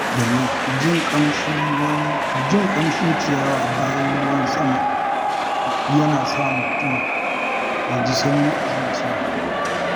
Jin ƙamshin ciyawa bayan ruwan sama yana sa mutum ya ji sanyi a zuciya.